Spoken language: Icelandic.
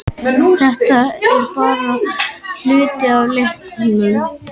Þetta er bara hluti af leiknum